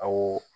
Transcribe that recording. Awɔ